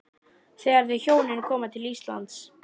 Þegar þau hjónin koma til Íslands